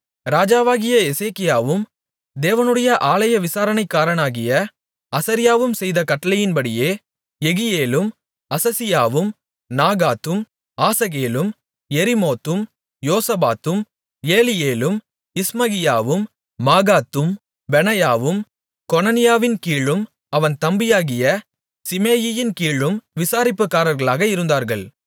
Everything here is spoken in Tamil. ராஜாவாகிய எசேக்கியாவும் தேவனுடைய ஆலய விசாரணைக்காரனாகிய அசரியாவும் செய்த கட்டளையின்படியே யெகியேலும் அசசியாவும் நாகாத்தும் ஆசகேலும் யெரிமோத்தும் யோசபாத்தும் ஏலியேலும் இஸ்மகியாவும் மாகாத்தும் பெனாயாவும் கொனனியாவின் கீழும் அவன் தம்பியாகிய சிமேயியின் கீழும் விசாரிப்புக்காரர்களாக இருந்தார்கள்